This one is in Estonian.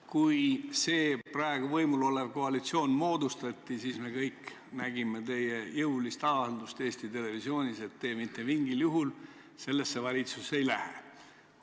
Kui see praegu võimul olev koalitsioon moodustati, siis me kõik nägime teie jõulist avaldust Eesti Televisioonis, et te mitte mingil juhul sellesse valitsusse ei lähe.